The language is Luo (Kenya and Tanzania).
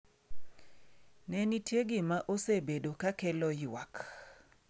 Ne nitie gima osebedo ka kelo ywak.